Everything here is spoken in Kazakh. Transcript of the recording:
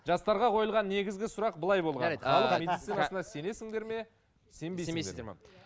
жастарға қойылған негізгі сұрақ былай болған медицинасына сенесіңдер ме сенбейсіздер ме